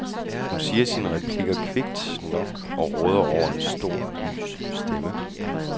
Hun siger sine replikker kvikt nok og råder over en stor, lys stemme.